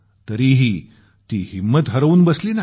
तरीही ती हिंम्मत हरवून बसली नाही